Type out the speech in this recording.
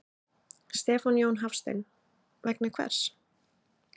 Stefán Jón Hafstein: Vegna hvers?